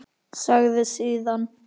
Sagði síðan: